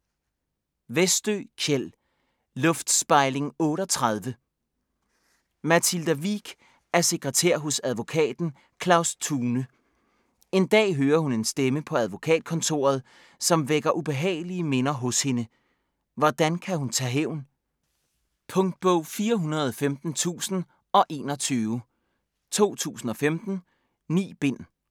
Westö, Kjell: Luftspejling 38 Mathilda Wiik er sekretær hos advokaten Claus Thune. En dag hører hun en stemme på advokatkontoret, som vækker ubehagelige minder hos hende. Hvordan kan hun tage hævn? Punktbog 415021 2015. 9 bind.